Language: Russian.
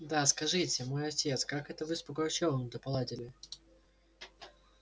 да скажите мой отец как это вы с пугачевым-то поладили